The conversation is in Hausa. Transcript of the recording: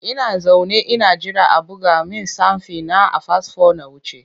Ina zaune ina jira a buga min stamfi na a fasfo na wuce.